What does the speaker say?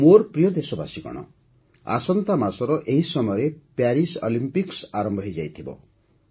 ମୋର ପ୍ରିୟ ଦେଶବାସୀଗଣ ଆସନ୍ତା ମାସର ଏଇ ସମୟରେ ପ୍ୟାରିସ୍ ଅଲିମ୍ପିକ୍ସ ଆରମ୍ଭ ହୋଇଯାଇଥିବ